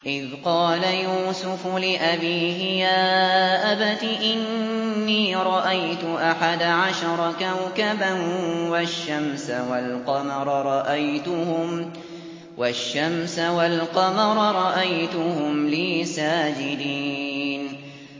إِذْ قَالَ يُوسُفُ لِأَبِيهِ يَا أَبَتِ إِنِّي رَأَيْتُ أَحَدَ عَشَرَ كَوْكَبًا وَالشَّمْسَ وَالْقَمَرَ رَأَيْتُهُمْ لِي سَاجِدِينَ